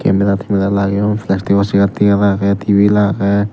camera tamera lageyon plastic o sear tegar age tabil age.